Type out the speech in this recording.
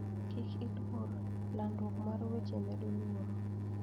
Kik iluor, landruok mar weche medo luoro.